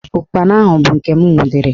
Ụkpana ahụ bụ nke m nwudere